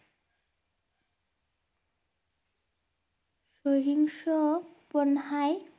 সহিংস পন্হায়